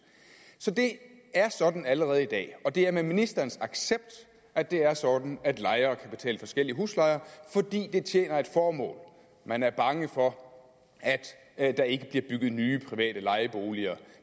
så det er sådan allerede i dag og det er med ministerens accept at det er sådan at lejere kan betale forskellige huslejer fordi det tjener et formål man er bange for at der ikke bliver bygget nye private lejeboliger